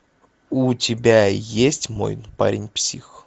у тебя есть мой парень псих